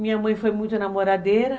Minha mãe foi muito namoradeira.